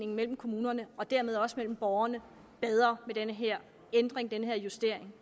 mellem kommunerne og dermed også mellem borgerne bedre med den her ændring den her justering